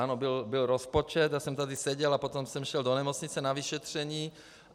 Ano, byl rozpočet, já jsem tady seděl a potom jsem šel do nemocnice na vyšetření.